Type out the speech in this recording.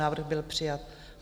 Návrh byl přijat.